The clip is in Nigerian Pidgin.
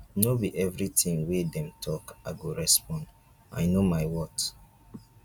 no be everytin wey dem tok i go respond i know my worth.